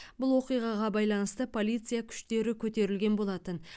бұл оқиғаға байланысты полиция күштері көтерілген болатын